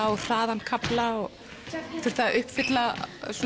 og hraðann kafla og þurfti að uppfylla